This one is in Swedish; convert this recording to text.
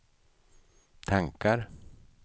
tankar